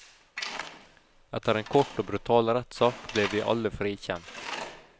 Etter en kort og brutal rettsak ble vi alle frikjent.